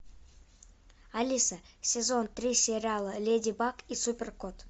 алиса сезон три сериала леди баг и супер кот